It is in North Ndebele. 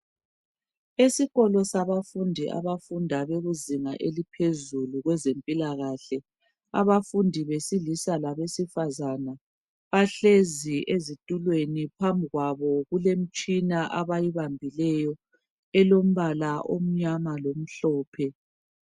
Esikolo sabafundi abafunda izinga eliphezulu kwezempilakahle abafundi besilisa labesifazane bahlezi ezitulweni phambikwabo imtshina abayibambileyo elombala omnyama lomhlophe